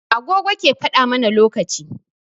Agogo ke faɗa mana lokaci.